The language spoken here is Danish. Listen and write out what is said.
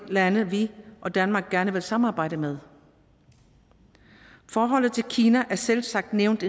lande vi og danmark gerne vil samarbejde med forholdet til kina er selvsagt nævnt